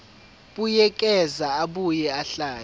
buyekeza abuye ahlele